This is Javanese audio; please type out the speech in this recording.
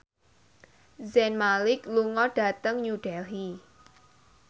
Zayn Malik lunga dhateng New Delhi